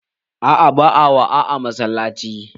A'a, ba'a waa a masallaci.